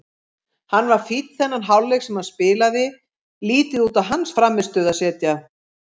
Hann var fínn þennan hálfleik sem hann spilaði, lítið út á hans frammistöðu að segja.